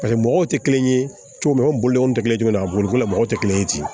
Paseke mɔgɔw tɛ kelen ye cogo min na an bolo tɛ kelen ye a boliko la mɔgɔw tɛ kelen ye ten